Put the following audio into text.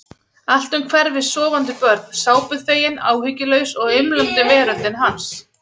Allt um hverfis sofandi börn, sápuþvegin, áhyggjulaus og umlandi veröldin hans.